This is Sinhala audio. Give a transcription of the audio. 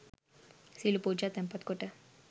සියලු පූජා තැන්පත්කොට